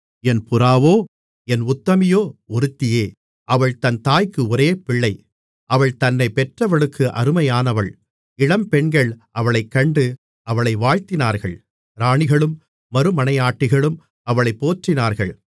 என் புறாவோ என் உத்தமியோ ஒருத்தியே அவள் தன் தாய்க்கு ஒரே பிள்ளை அவள் தன்னைப் பெற்றவளுக்கு அருமையானவள் இளம்பெண்கள் அவளைக் கண்டு அவளை வாழ்த்தினார்கள் ராணிகளும் மறுமனையாட்டிகளும் அவளைப் போற்றினார்கள்